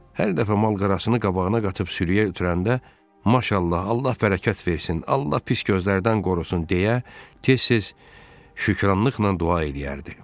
Hər dəfə mal-qarasını qabağına qatıb sürüyə ötürəndə “Maşallah, Allah bərəkət versin, Allah pis gözlərdən qorusun!” deyə tez-tez şükranlıqla dua eləyərdi.